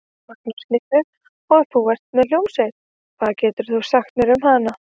Magnús Hlynur: Og þú ert með hljómsveit, hvað getur þú sagt mér um hana?